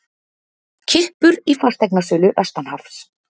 Kippur í fasteignasölu vestanhafs